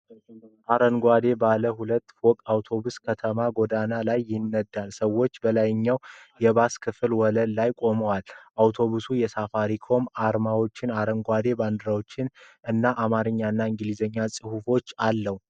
አረንጓዴ ባለ ሁለት ፎቅ አውቶቡስ በከተማ ጎዳና ላይ ይነዳል። ሰዎች በላይኛው የባሱ ክፍል ወለል ላይ ቆመዋል። አውቶቡሱ የሳፋሪኮም አርማዎች፣ አረንጓዴ ባንዲራዎች እና በአማርኛ እና በእንግሊዝኛ ጽሁፍ አለው።